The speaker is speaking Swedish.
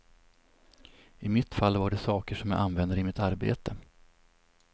I mitt fall var det saker som jag använder i mitt arbete.